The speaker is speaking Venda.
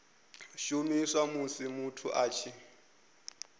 shumiswa musi muthu a tshi